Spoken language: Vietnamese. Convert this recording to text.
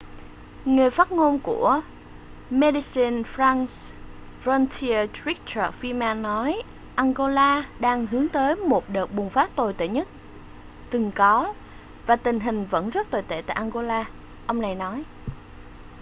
người phát ngôn của medecines sans frontiere richard veerman nói angola đang hướng tới một đợt bùng phát tồi tệ nhất từng có và tình hình vẫn rất tồi tệ tại angola ông này nói